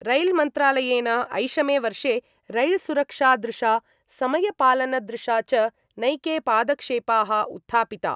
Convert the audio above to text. रैल्मन्त्रालयेन ऐषमे वर्षे रैल्सुरक्षादृशा, समयपालनदृशा च नैके पादक्षेपाः उत्थापिता।